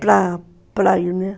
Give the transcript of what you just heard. Para, para irmos, né?